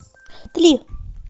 три